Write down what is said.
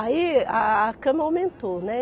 Aí a a cama aumentou, né?